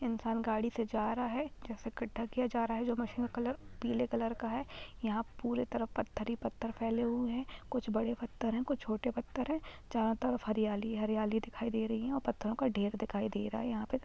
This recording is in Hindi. इंसान गाड़ी से जा रहा है जैसे गड्ढा किया जा रहा है जो मशीन का कलर पीले कलर का है यहां पूरे तरफ पत्थर ही पत्थर फैले हुए है कुछ बड़े पत्थर है कुछ छोटे पत्थर है चारो तरफ हरियाली ही हरियाली दिखाई दे रही है और पत्थरो का ढेर दिखाई दे रहा है यहां पे।